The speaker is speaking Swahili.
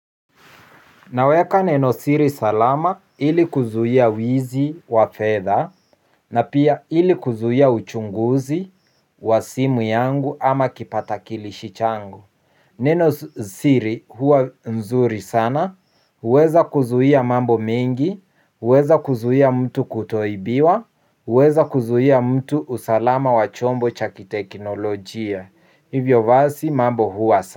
Naweka neno siri salama ili kuzuia wizi wa fedha na pia ili kuzuia uchunguzi wa simu yangu ama kipatakilishi changu. Neno siri huwa nzuri sana, huweza kuzuia mambo mengi, huweza kuzuia mtu kutoibiwa, huweza kuzuia mtu usalama wachombo cha kiteknolojia. Hivyo basi mambo huwa.